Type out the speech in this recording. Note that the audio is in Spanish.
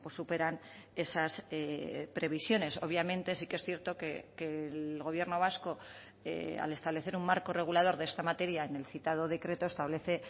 superan esas previsiones obviamente sí que es cierto que el gobierno vasco al establecer un marco regulador de esta materia en el citado decreto establece